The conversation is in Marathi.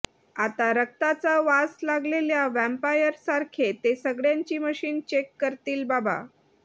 आता रक्ताचा वास लागलेल्या व्हॅम्पायर सारखे ते सगळ्यांची मशीन चेक करतील बाबा